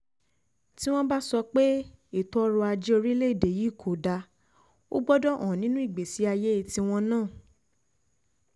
tí wọ́n bá sọ pé ètò ọrọ̀ ajé orílẹ̀‐èdè yìí kò dáa ò gbọ́dọ̀ hàn nínú ìgbésí ayé tiwọn náà